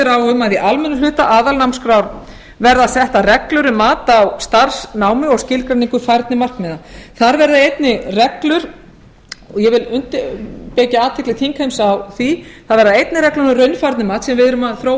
í almennum hluta aðalnámskrár verði settar reglur um mat á starfsnámi og skilgreiningu um færni markmiða þar verða einnig reglur og ég vil vekja athygli þingheims á því það verða einnig reglur um raunfærnimat sem við erum að þróa